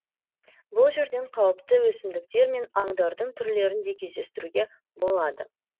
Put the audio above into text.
бұл жерден қауіпті өсімдіктер мен аңдардың түрлерін де кездестіруге болады